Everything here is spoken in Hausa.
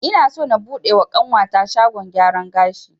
Ina so na buɗe wa ƙanwata shagon gyaran gashi